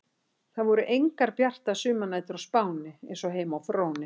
Það voru engar bjartar sumarnætur á Spáni eins og heima á Fróni.